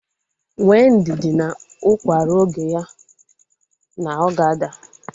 Nwee ndidi na ukwa ruo oge ya na ọ ga-ada